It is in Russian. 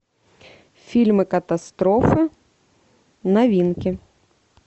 фильмы катастрофы новинки